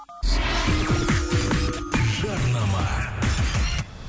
жарнама